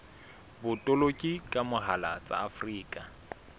botoloki ka mohala tsa afrika